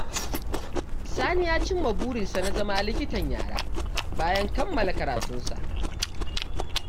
Sani ya cimma burinsa na zama likitan yara, bayan kammala karatunsa.